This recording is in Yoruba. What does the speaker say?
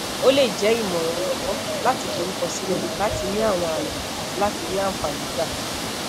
o le jẹ imọran ọlọgbọn lati forukọsilẹ lati ni awọn aye ati lati ri anfani gba